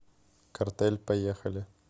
картель поехали